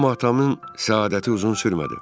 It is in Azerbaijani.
Amma atamın səadəti uzun sürmədi.